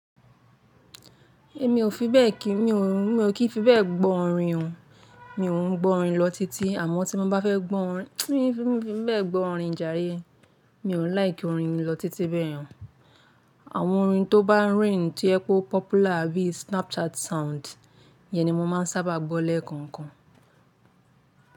Èmi ò kí fi bẹ́ẹ̀ gbọ́ orin o. Mi ò ń gbọ́ orin lọ titi àmọ́ tí mo bá fẹ́ gbọ́ orin, mi fi bẹ́ẹ̀ gbọ́ orin jare. Mi ò nífẹ̀ orin mi lọ títí bẹ́ẹ̀ han. Àwọn orin tó bá reign tí ó jẹ́ pé ó popular bí i Snapchat sound yẹn ni mo máa ń sábà gbọ́ lẹ́ẹ̀kọ̀ọ̀kan.